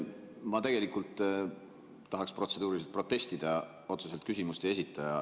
Ma tegelikult tahaksin protseduuriliselt protestida.